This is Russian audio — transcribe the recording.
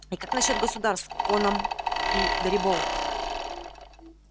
и как насчёт государств коном и дарибоу